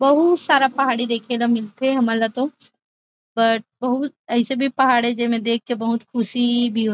बहुत सारा पहाड़ी देखे के मिलथे हमन ल तो बट बहुत ऐसे भी पहाड़ हे जे में देख के बहुत ख़ुशी भी हो --